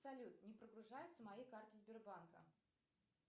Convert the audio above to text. салют не прогружаются мои карты сбербанка